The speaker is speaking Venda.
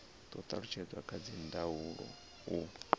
do talutshedzwa kha dzindaulo u